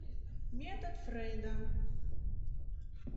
метод фрейда